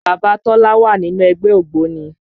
Bàbá Tọ́lá wà nínú ẹgbẹ́ ògbóni